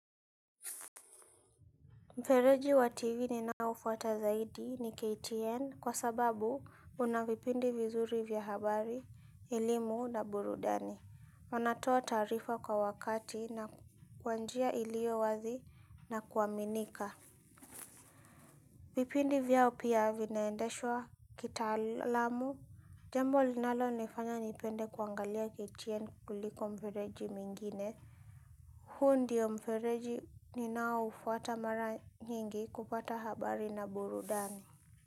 Mfereji wa tv ninao fuata zaidi ni KTN kwa sababu una vipindi vizuri vya habari, elimu na burudani. Wanatoa taarifa kwa wakati na kwa njia iliyo wazi na kuaminika. Vipindi vyao pia vinaendeshwa kitaalamu. Jambo linalonifanya nipende kuangalia KTN kuliko mfereji mwingine. Huu ndio mfereji ninaufuata mara nyingi kupata habari na burudani.